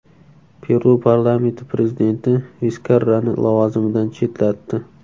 Peru parlamenti prezident Viskarrani lavozimidan chetlatdi.